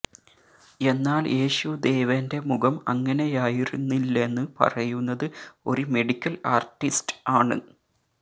എന്നാല് യേശുദേവന്റെ മുഖം അങ്ങനെയായിരുന്നില്ലെന്ന് പറയുന്നത് ഒരു മെഡിക്കല് ആര്ട്ടിസ്റ്റ് ആണ്